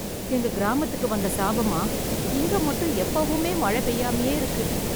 எங்க கிராமத்துக்கு வந்த சாபமா ? இங்க மட்டும் எப்பவுமே மழை பெய்யாமயே இருக்கு.